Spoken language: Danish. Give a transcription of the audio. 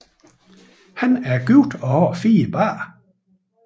Han er gift og har fire børn